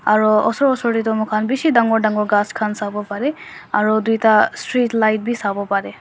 aru osor osor te tu moi khan bisi dagur dagur gass khan sabo pare aru duita street light bhi sabo pare.